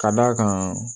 Ka d'a kan